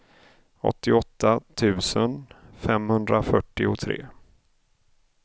åttioåtta tusen femhundrafyrtiotre